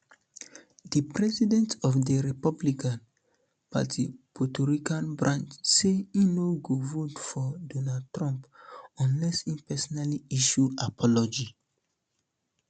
di president of di republican um party puerto rican branch say e no go vote for um donald trump unless e personally issue apology